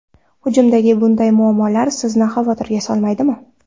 Hujumdagi bunday muammolar sizni xavotirga solmaydimi?